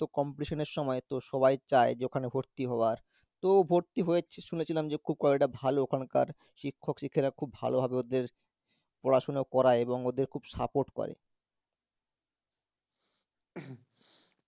তো competition এর সময় তো সবাই চায় যে ওখানে ভর্তি হওয়ার, তো ভর্তি হয়েছে শুনেছিলাম যে খুব college টা ভালো ওখানকার শিক্ষক শিক্ষিকারা খুব ভালোভাবে ওদের পড়াশুনা করায় এবং ওদের খুব support করে